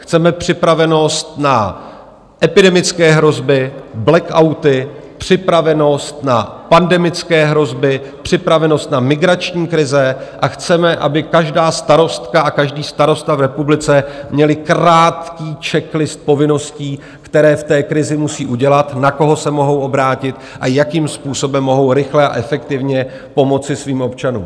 Chceme připravenost na epidemické hrozby, blackouty, připravenost na pandemické hrozby, připravenost na migrační krize a chceme, aby každá starostka a každý starosta v republice měli krátký checklist povinností, které v té krizi musí udělat, na koho se mohou obrátit a jakým způsobem mohou rychle a efektivně pomoci svým občanům.